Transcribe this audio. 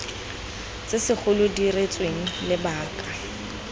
tse segolo di diretsweng lebaka